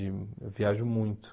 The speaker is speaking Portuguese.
Eu viajo muito.